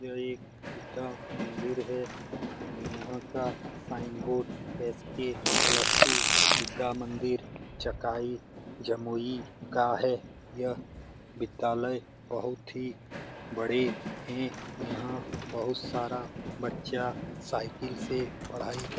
यह एक विद्या मंदिर है यहाँ का sign board S K plus two Vidya Mandir Jakai Jamui का है यह विद्यालय बहुत ही बड़े है यहाँ बहुत सारा बच्चा साइकिल से पढ़ाई कर --